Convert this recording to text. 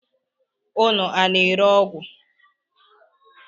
Unu a na-ere ọgwụ?